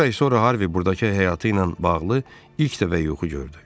Bir ay sonra Harvey buradakı həyatı ilə bağlı ilk dəfə yuxu gördü.